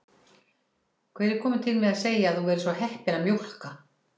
Hver er kominn til með að segja að þú verðir svo heppin að mjólka?